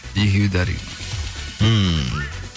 екеуі де ммм